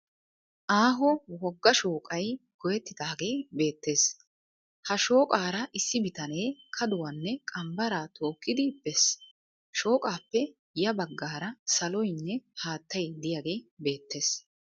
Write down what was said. Aaho wogga shooqay goyyettidaagee beettes. Ha shooqaara issi bitanee kaduwanne qambbaraa tookkidi bees. Shooqaappe ya baggaara saloynne haattay diyagee beettes.